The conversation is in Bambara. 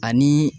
Ani